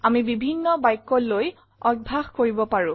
আমি বিভিন্ন বাক্য লৈ অভ্যাস কৰিব পাৰো